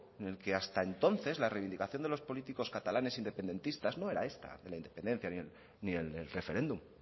en el que hasta entonces la reivindicación de los políticos catalanes independentistas no era esta de la independencia ni el referéndum